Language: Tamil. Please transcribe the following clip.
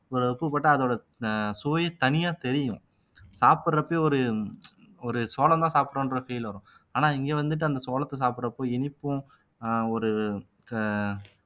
ஒரு உப்பு போட்டா அதோட ஆஹ் சுவை தனியா தெரியும் சாப்பிடறப்பயே ஒரு ஒரு சோளம்தான் சாப்பிட்டோம்ன்ற feel வரும் ஆனா இங்க வந்துட்டு அந்த சோளத்தை சாப்பிடுறப்போ இனிப்பும் ஆஹ் ஒரு க